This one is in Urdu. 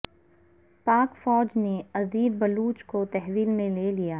پاک فوج نے عذیر بلوچ کو تحویل میں لے لیا